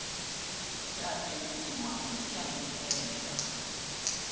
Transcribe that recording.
ya tempiwa mme ya neelwa